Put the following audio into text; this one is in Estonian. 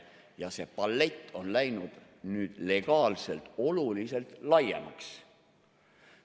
Ja see palett on läinud nüüd legaalselt oluliselt laiemaks.